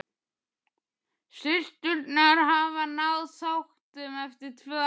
Systurnar hafa náð sáttum eftir tvö ár.